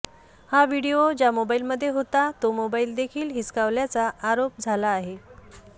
हा व्हिडीओ ज्या मोबाईलमध्ये होता तो मोबाईल देखील हिसकावल्याचा आरोप झाला आहे